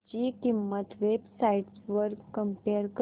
ची किंमत websites वर कम्पेअर कर